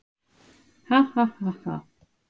Ha, ha, ha, ha!